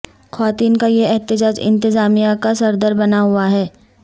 خواتین کا یہ احتجاج انتظامیہ کا سردر بنا ہواہے